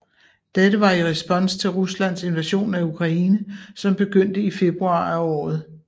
Dette var i respons til Ruslands invasion af Ukraine som begyndte i februar af året